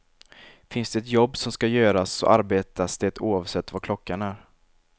Finns det jobb som ska göras så arbetas det oavsett vad klockan är.